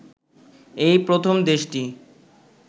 এই প্রথম দেশটি